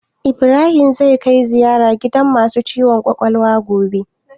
Ibrahim zai kai ziyara gidan masu ciwon kwakwalwa gobe?